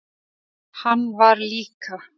Hann var líka.